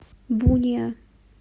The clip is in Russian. буниа